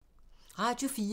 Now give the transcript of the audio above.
Radio 4